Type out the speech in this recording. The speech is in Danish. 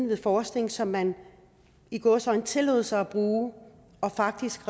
være forskning som man i gåseøjne tillod sig at bruge faktisk